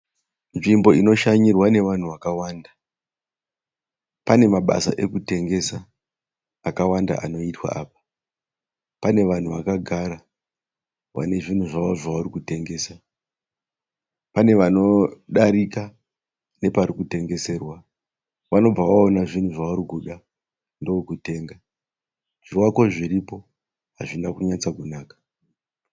Nzvimbo inoshanyirwa nevanhu vakawanda. Pane mabasa ekutengesa akawanda anoitwa apa. Pane vanhu vakagara vane zvinhu zvavo zvavari kutengesa. Pane vanodarika neparikutengeserwa vanobva vaona zvinhu zvavarikuda ndokutenga. Zvivako zviripo hazvina kunyatsonaka.